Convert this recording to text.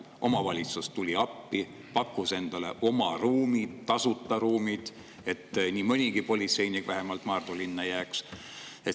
Omavalitsus tuli appi, pakkus tasuta oma ruume, et vähemalt mõnigi politseinik Maardu linna jääks.